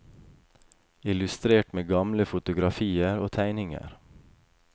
Illustrert med gamle fotografier og tegninger.